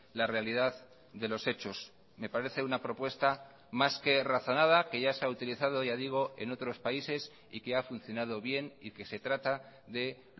la realidad de los hechos me parece una propuesta más que razonada que ya se ha utilizado ya digo en otros países y que ha funcionado bien y que se trata de